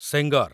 Sengar